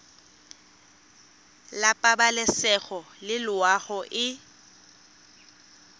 la pabalesego le loago e